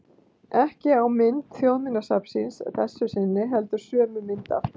Ekki á mynd Þjóðminjasafnsins að þessu sinni, heldur sömu mynd aftur.